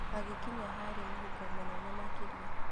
Agĩkinya harĩ mũhuko mũnene makĩria.